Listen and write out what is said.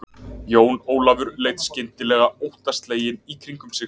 Jón Ólafur leit skyndileg aóttaslegin í kringum sig.